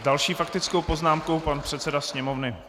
S další faktickou poznámkou pan předseda Sněmovny.